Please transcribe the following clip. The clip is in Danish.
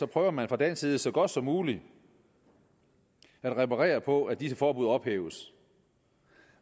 prøver man fra dansk side så godt som muligt at reparere på at disse forbud ophæves